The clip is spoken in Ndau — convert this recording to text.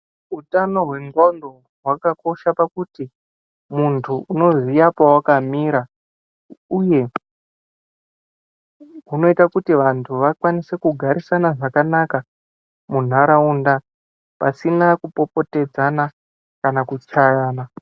Utano hwendxondo hwakakosha pakuti muntu unoziya pewakamira. Uye hunoita kuti vantu vakwanise kugarisana zvakanaka muntaraunda, pasina kupopotedzana kana kuchayana.